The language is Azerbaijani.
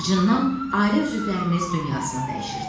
Acından ailə üzvlərimiz dünyasını dəyişirdi.